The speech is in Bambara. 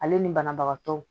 Ale ni banabagatɔw